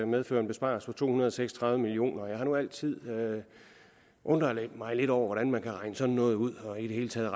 medføre en besparelse på to hundrede og seks og tredive million kroner jeg har nu altid undret mig lidt over hvordan man kan regne sådan noget ud og i det hele taget